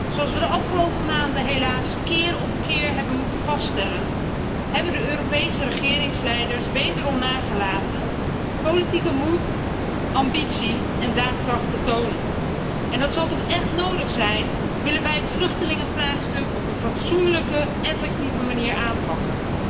Zoals we de afgelopen maanden helaas keer op keer hebben moeten vaststellen, hebben de Europese regeringsleiders wederom nagelaten politieke moed, ambitie en daadkracht te tonen en dat zal toch echt nodig zijn, willen wij het vluchtelingenvraagstuk op een fatsoenlijke, effectieve manier aanpakken.